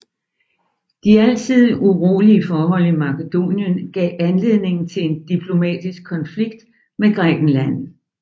De altid urolige forhold i Makedonien gav anledning til en diplomatisk konflikt med Grækenland